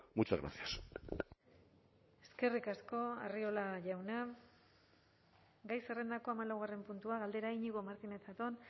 muchas gracias eskerrik asko arriola jauna gai zerrendako hamalaugarren puntua galdera iñigo martínez zatón